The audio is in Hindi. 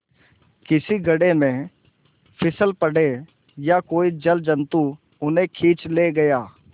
किसी गढ़े में फिसल पड़े या कोई जलजंतु उन्हें खींच ले गया